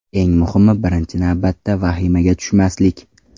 Eng muhimi, birinchi navbatda, vahimaga tushmaslik.